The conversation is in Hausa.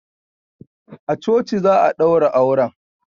A coci za a daura auren